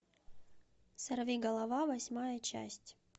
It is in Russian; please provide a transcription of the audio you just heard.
сорвиголова восьмая часть